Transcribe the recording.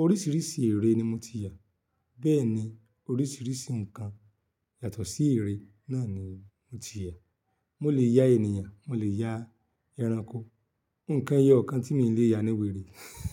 Oríṣiríṣi ère ni mo ti yà, bẹ́ẹ̀ ni oríṣiríṣi nǹkan yàtọ̀ sí ère náà ni mo ti yà. Mo lè ya ènìyàn, mo lè ya ẹranko, nǹkan ẹyọ kan tí mi ò lè ya ni wèrè.